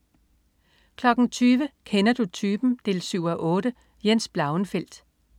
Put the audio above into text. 20.00 Kender du typen? 7:8. Jens Blauenfeldt